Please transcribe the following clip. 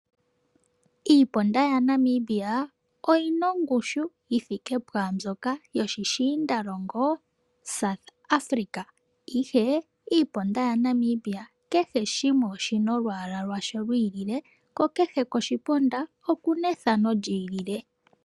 Iiponda yaNamibia oyina ongushi yithika puyamboka yoposhishinda longo South Africa, ihe iiponda yaNamibia kehe shimwe oshina olwaala lwasho lwayooloka, kko kehe koshiponda okuna ethano lyi ilile.